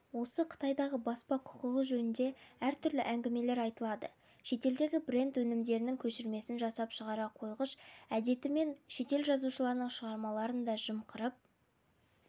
осы қытайдағы баспа құқығы жөнінде әртүрлі әңгімелер айтылады шетелдегі бренд өнімдердің көшірмесін жасап шығара қойғыш әдетімен шетел жазушыларының шығармаларын да жымқырып